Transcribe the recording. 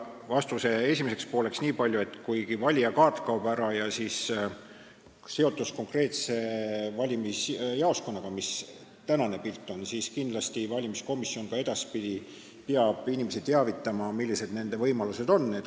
Vastuse esimeseks pooleks niipalju, et kuigi kaob ära valijakaart ja seotus konkreetse valimisjaoskonnaga, mis praegu on, siis peab valimiskomisjon kindlasti ka edaspidi inimesi teavitama sellest, millised on nende võimalused.